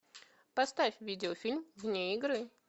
поставь видеофильм вне игры